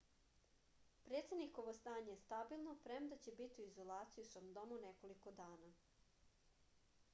predsednikovo stanje je stabilno premda će biti u izolaciji u svom domu nekoliko dana